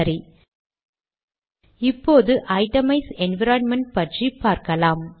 சரி இப்போது itemize environment பற்றி பார்க்கலாம்